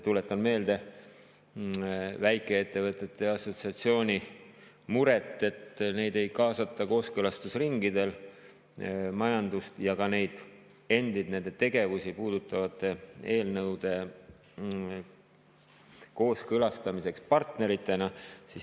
Tuletan meelde väikeettevõtete assotsiatsiooni muret, et neid ei kaasata kooskõlastusringidele majandust ja ka neid endid, nende tegevusi puudutavate eelnõude kooskõlastamiseks partneritena.